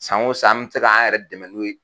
San o san, an bɛ se k'an yɛrɛ dɛmɛ n'o ye.